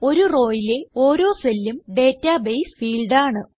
ഒരു rowയിലെ ഓരോ cellഉം ഡേറ്റാബേസ് ഫീൽഡ് ആണ്